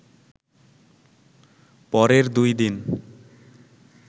পরের দুই দিন